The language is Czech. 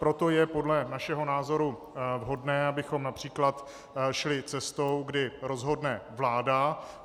Proto je podle našeho názoru vhodné, abychom například šli cestou, kdy rozhodne vláda.